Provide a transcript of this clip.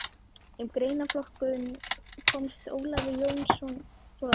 Um greinaflokkinn komst Ólafur Jónsson svo að orði